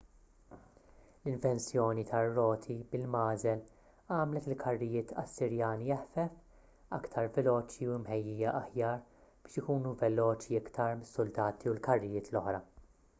l-invenzjoni tar-roti bil-magħżel għamlet il-karrijiet assirjani eħfef iktar veloċi u mħejjija aħjar biex ikunu veloċi iktar mis-suldati u l-karrijiet l-oħra